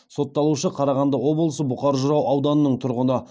сотталушы қарағанды облысы бұқар жырау ауданының тұрғыны